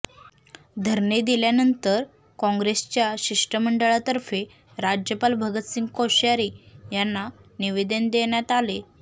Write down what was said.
धरणे दिल्यानंतर कॉंग्रेसच्या शिष्टमंडळातर्फे राज्यपाल भगतसिंग कोश्यारी यांना निवेदन देण्यात आले